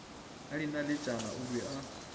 ka dinaletšana o be a